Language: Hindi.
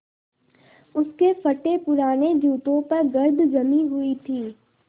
उसके फटेपुराने जूतों पर गर्द जमी हुई थी